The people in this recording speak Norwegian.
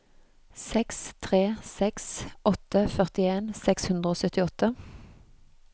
seks tre seks åtte førtien seks hundre og syttiåtte